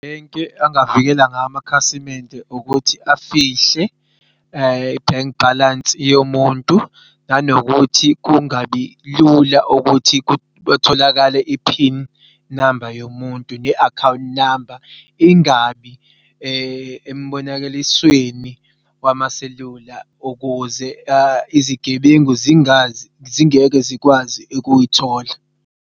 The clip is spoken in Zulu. Into angavikela ngayo amakhasimende ukuthi afihle i-bank balance yomuntu nanokuthi kungabi lula ukuthi kutholakale i-pin number yomuntu ne-account number ingabi embonakaliswenini ukuze izigebengu zingeke zikwazi ukuyithola.